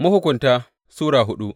Mahukunta Sura hudu